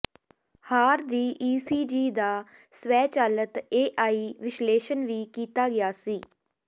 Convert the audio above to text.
ਹਾਰ ਦੀ ਈਸੀਜੀ ਦਾ ਸਵੈਚਾਲਤ ਏਆਈ ਵਿਸ਼ਲੇਸ਼ਣ ਵੀ ਕੀਤਾ ਗਿਆ ਸੀ